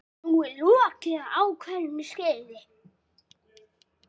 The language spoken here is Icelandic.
Nú er lokið ákveðnu skeiði.